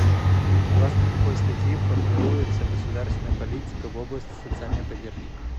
согласно какой статьи формируется государственная политика в области социальной поддержки